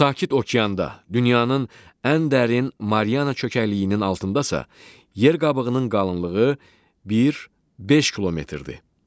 Sakit okeanda, dünyanın ən dərin Mariana çökəkliyinin altındasa yer qabığının qalınlığı 1-5 kilometrdir.